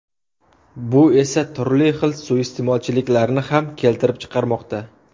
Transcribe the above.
Bu esa, turli xil suiiste’molchiliklarni ham keltirib chiqarmoqda.